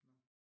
Nåh